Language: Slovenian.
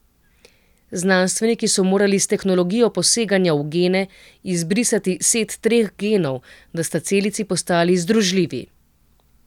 Znanstveniki so morali s tehnologijo poseganja v gene izbrisati set treh genov, da sta celici postali združljivi.